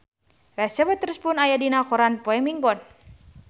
Reese Witherspoon aya dina koran poe Minggon